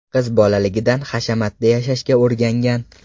Qiz bolaligidan hashamatda yashashga o‘rgangan.